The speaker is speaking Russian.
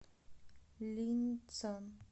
линьцан